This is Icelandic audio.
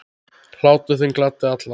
Hlátur þinn gladdi alla.